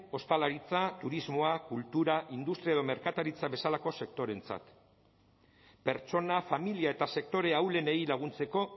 ostalaritza turismoa kultura industria edo merkataritza bezalako sektoreentzat pertsona familia eta sektore ahulenei laguntzeko